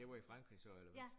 Det var i Frankrig så eller hvad?